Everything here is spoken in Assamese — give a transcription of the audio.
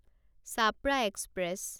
ছাপৰা এক্সপ্ৰেছ